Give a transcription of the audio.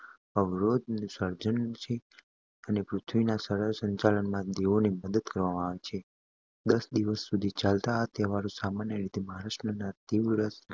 અવરોધ સર્જક બનવું અને પૃથ્વીના સરળ સંચાલનમાં દેવોને મદદ કરવી. દસ દિવસ સુધી ચાલતો આ તહેવાર સામાન્ય રીતે મહારાષ્ટ્રમાં તીવ્ર